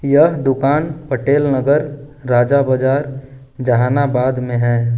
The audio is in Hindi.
यह दुकान पटेल नगर राजा बाजार जहानाबाद में है।